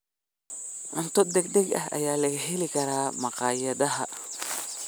Cunto degdeg ah ayaa laga heli karaa makhaayadaha.